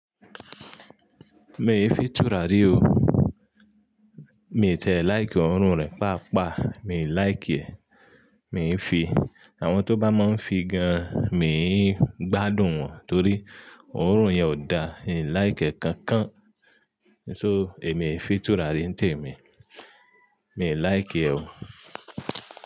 Mi i fi túra rí o. Mi i tiẹ laíìkì òórùn rẹ pàápàá, mi ò láìkì e. Mi ń fi, àwọn tó bá máa ń figan, mi ń gbádùn wọn torí òórùn yen ò dá, n ò láìkì ẹ̀ kankan. So èmi fi túra rí ń tẹ̀ mí, mi ò láìkì e o.